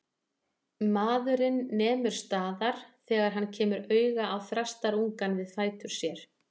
Maðurinn nemur staðar þegar hann kemur auga á þrastarungann við fætur sér.